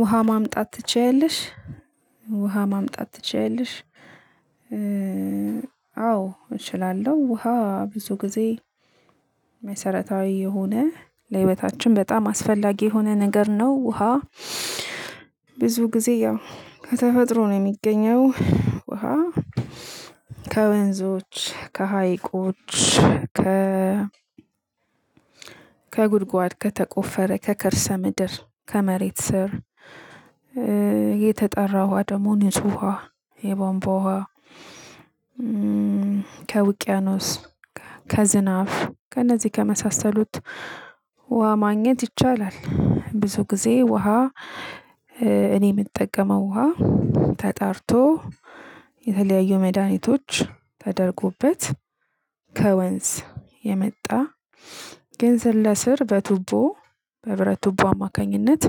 ውሃ ማምጣት ትችያለሽ? ውሃ ማምጣት ትችያለሽ? አዎ እችላለሁ ውሃ ብዙ ጊዜ። መሰረታዊ የሆነ ለህይወታችን በጣም አስፈላጊ የሆነ ነገር ነው። ውሃ ብዙ ጊዜ ያው ከተፈጥሮ ነው የሚገኘው። ውሃ ከወንዞች ከሀይቆች ከ ከጉድጓድ ከተቆፈረ ከከርሰ ምድር ከመሬት ስር። የተጣራ ውሃ ደግሞ ንጹህ ውሃ የቧንቧ ውሃ ከውቅያኖስ ከዝናብ ከእነዚህ ከመሳሰሉት ውሃ ማግኘት ይቻላል። ብዙ ጊዜ ውሃ። እኔ የምጠቀመው ውሃ ተጣርቶ የተለያዩ መድኃኒቶች ተደርጎበት ከወንዝ የመጣ። ግን ስር ለስር በቱቦ በብረት ቱቦ አማካኝነት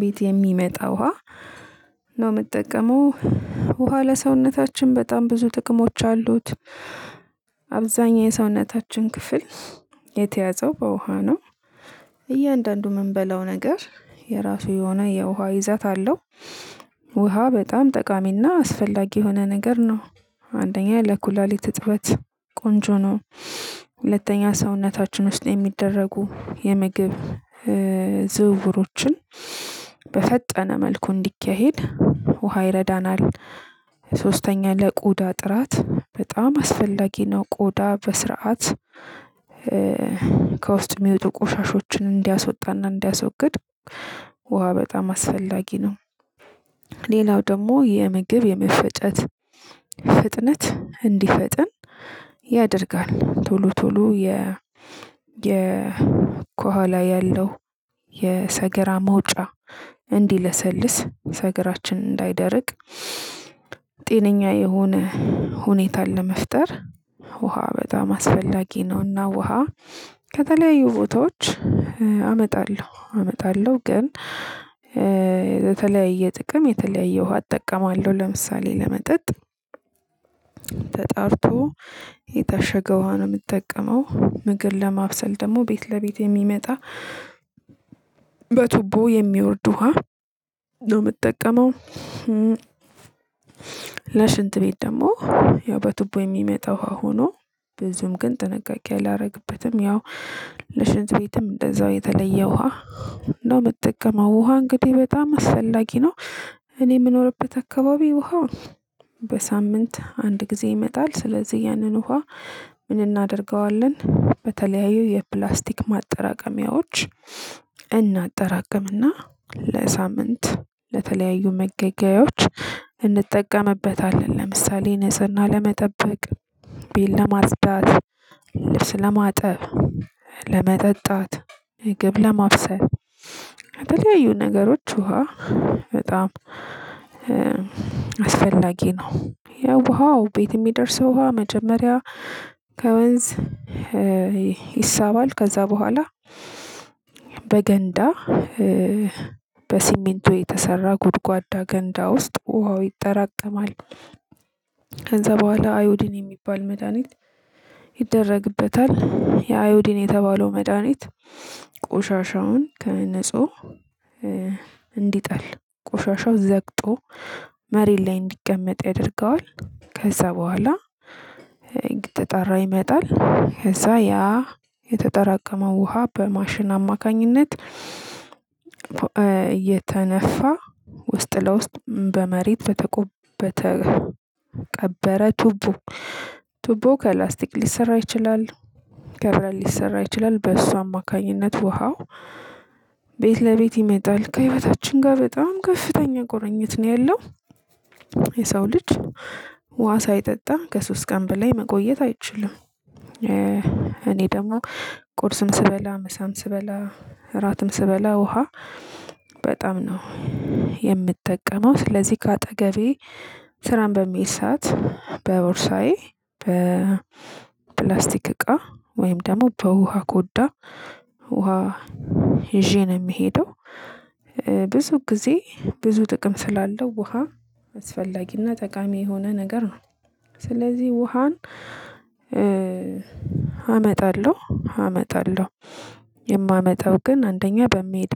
ቤት የሚመጣ ውሃ ነው የምጠቀመው። ውሃ ለሰውነታችን በጣም ብዙ ጥቅሞች አሉት። አብዛኛው የሰውነታችን ክፍል የተያዘው በውሃ ነው። እያንዳንዱ የምንበላው ነገር የራሱ የሆነ የውሃ ይዛት አለው። ውሃ በጣም ጠቃሚና አስፈላጊ የሆነ ነገር ነው። አንደኛ ለኩላሊት እጥበት ቆንጆ ነው። ሁለተኛ ሰውነታችን ውስጥ የሚደረጉ የምግብ ዝውውሮችን በፈጠነ መልኩ እንዲካሄድ ውሃ ይረዳናል። ሶስተኛ ለቆዳ ጥራት በጣም አስፈላጊ ነው። ቆዳ በስርዓት ከውስጥ የሚወጡ ቆሻሻዎችን እንዲያስወጣና እንዲያስወግድ ውሃ በጣም አስፈላጊ ነው። ሌላው ደግሞ የምግብ የመፈጨት ፍጥነት እንዲፈጥን ያደርጋል ቶሎ ቶሎ የ የ ከኋላ ያለው የሰገራ መውጫ እንዲለሰልስ ሰገራችን እንዳይደርቅ። ጤነኛ የሆነ ሁኔታን ለመፍጠር ውሃ በጣም አስፈላጊ ነውና ውሃ። ከተለያዩ ቦታዎች አመጣለሁ አመጣለሁ ግን የተለያየ ጥቅም የተለያየ ውሃ እጠቀማለሁ። ለምሳሌ ለመጠጥ ተጣርቶ የታሸገ ውሃ ነው የምጠቀመው ምግብ ለማብሰል ደግሞ ቤት ለቤት የሚመጣ በቱቦ የሚወርድ ውሃ ነው የምጠቀመው። ለሽንት ቤት ደግሞ ያው በቱቦ የሚመጣው ሀው ሆኖ ብዙም ግን ጥንቃቄ አላደርግበትም ያው ለሽንት ቤትም እንደዛው የተለየ ውሃ ነው የምጠቀመው። ውሃ እንግዲህ በጣም አስፈላጊ ነው። እኔ የምኖርበት አካባቢ ውሃ በሳምንት አንድ ጊዜ ይመጣል። ስለዚህ ያንን ውሃ ምን እናደርገዋለን? በተለያዩ የፕላስቲክ ማጠራቀሚያዎች እናጠራቅምና ለሳምንት ለተለያዩ መገገያዎች እንጠቀምበታለን። ለምሳሌ ንጽህና ለመጠበቅ ቤል ለማጽዳት ልብስ ለማጠብ ለመጠጣት ምግብ ለማብሰል ለተለያዩ ነገሮች ውሃ በጣም አስፈላጊ ነው። ያው ውሃው ቤት የሚደርሰው ውሃ መጀመሪያ ከወንዝ ይሳባል ከዛ በኋላ በገንዳ በሲሚንቶ የተሰራ ጎድጓዳ ገንዳ ውስጥ ውሃው ይጠራቀማል። ከዛ በኋላ አዮዲን የሚባል መድሃኒት ይደረግበታል ይህ አዮዲድን የተባለው መድሃኒት ቆሻሻውን ከነንጹህ እንዲጠል ቆሻሻው ዘግጦ መሬት ላይ እንዲቀመጥ ያደርገዋል። ከዛ በኋላ እየተጣራ ይመጣል ከዛ ያ የተጠራቀመው ውሃ በማሽን አማካኝነት የተነፋ ውስጥ ለውስጥ በመሬት በተቀበረ ቱቦ ቱቦ ከላስቲክ ሊሰራ ይችላል። ከብረት ሊሰራ ይችላል በእሱ አማካኝነት ውሃው ቤት ለቤት ይመጣል። ከህይወታችን ጋር በጣም ከፍተኛ ቁርኝት ነው ያለው። የሰው ልጅ ውሃ ሳይጠጣ ከሶስት ቀን በላይ መቆየት አይችልም። እኔ ደግሞ ቁርስም ስበላ ምሳም ስበላ እራትም ስበላ ውሃ በጣም ነው የምጠቀመው ስለዚህ ከአጠገቤ ስራም በምሄድ ሰዓት በቦርሳዬ በፕላስቲክ እቃ ወይም ደግሞ በውሃ ኮዳ ውሃ ይዤ ነው የምሄደው። ብዙ ጊዜ ብዙ ጥቅም ስላለው ውሃ አስፈላጊና ጠቃሚ የሆነ ነገር ነው። ስለዚህ ውሃን አመጣለሁ አመጣለሁ የማመጣው ግን አንደኛ በመሄድ